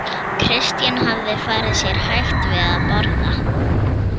Christian hafði farið sér hægt við að borða.